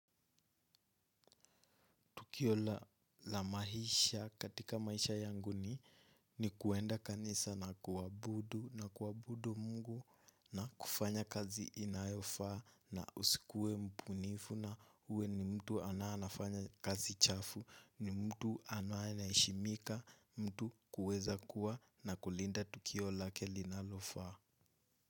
Tukio la maisha katika maisha yangu ni kuenda kanisa na kuabudu Mungu na kufanya kazi inayofaa na usikue mpunifu na uwe ni mtu ananafanya kazi chafu, ni mtu ananaishimika, mtu kuweza kuwa na kulinda tukio lake linalofaa.